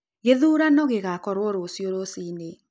Gĩthurano gĩgakorwo rũciu rũciĩnĩ